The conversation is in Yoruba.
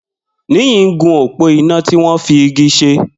Niyi n gún ópó iná tiwọn fi igi ṣé